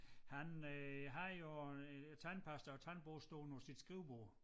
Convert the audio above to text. Han øh havde jo øh tandpasta og tandbørste stående på sit skrivebord